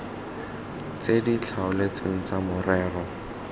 tse di tlhaotsweng tsa morero